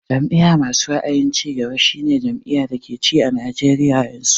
Jam'iya masu ra'ayin cigaba shi ne jam'iyar da ke ci a Najeriya yanzu